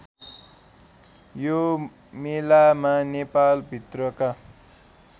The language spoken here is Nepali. यो मेलामा नेपालभित्रका